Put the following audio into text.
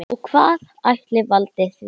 Og hvað ætli valdi því?